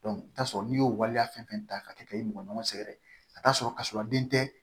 i bi t'a sɔrɔ n'i y'o waleya fɛn fɛn ta ka kɛ ka e mɔgɔnin sɛngɛrɛ a t'a sɔrɔ ka sɔrɔ a den tɛ